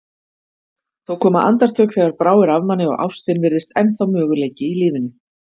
Þó koma andartök þegar bráir af manni og ástin virðist ennþá möguleiki í lífinu.